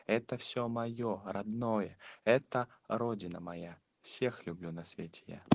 это все моё родное это родина моя всех люблю на свете я